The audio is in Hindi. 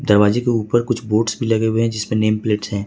दरवाजे के ऊपर कुछ बोर्ड्स भी लगे हुए जिसपे नेम प्लेट से है।